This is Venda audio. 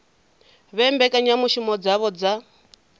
vhe na mbekanyamushumo dzavho dza